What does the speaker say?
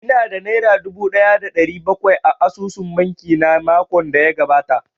Ina da nera dubu ɗaya da ɗari bakwai a asusun banki na makon da ya gabata